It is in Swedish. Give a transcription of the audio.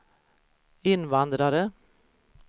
invandrare